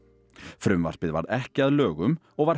frumvarpið varð ekki að lögum og var